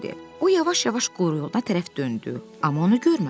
O yavaş-yavaş quyruğuna tərəf döndü, amma onu görmədi.